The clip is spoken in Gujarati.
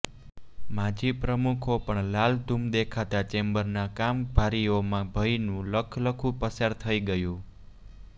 માજી પ્રમુખો પણ લાલઘૂમ દેખાતા ચેમ્બરના કારભારીઓમાં ભયનું લખલખુ પસાર થઈ ગયું